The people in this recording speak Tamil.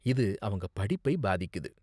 இது அவங்க படிப்பை பாதிக்குது.